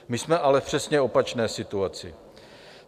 My jsme ale v přesně opačné situaci.